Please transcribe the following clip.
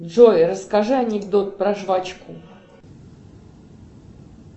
джой расскажи анекдот про жвачку